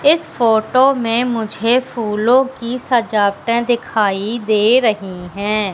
इस फोटो में मुझे फूलों की सजावटें दिखाई दे रही हैं।